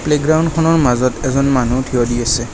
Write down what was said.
প্লেগ্ৰাউণ্ডখনৰ মাজত এজন মানু্হ থিয় দি আছে।